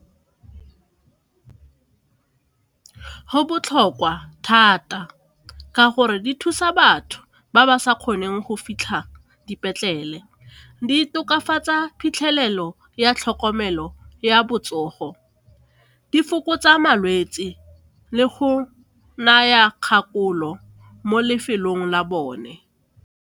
Go botlhokwa thata ka gore di thusa batho ba ba sa kgoneng go fitlha dipetlele, di tokafatsa phitlhelelo ya tlhokomelo ya botsogo, di fokotsa malwetse le go naya kgakololo mo lefelong la bone.